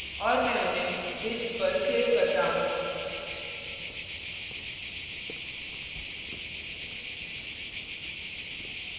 और मैं उन्हें disk पर सेव करता हूँ